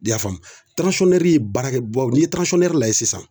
I y'a faamu ye baarakɛ baw ni lajɛ sisan